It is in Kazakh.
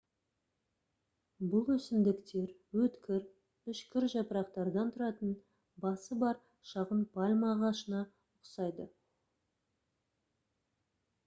бұл өсімдіктер өткір үшкір жапырақтардан тұратын басы бар шағын пальма ағашына ұқсайды